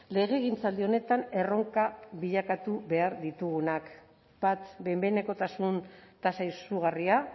legegintzaldi honetan erronka bilakatu behar ditugunak bat behin behinekotasun tasa izugarria